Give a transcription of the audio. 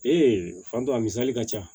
fan dɔ a misali ka ca